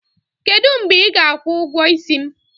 Kedụ mgbe ị ga-akwụ ụgwọ isi m?